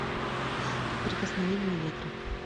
прикосновение ветра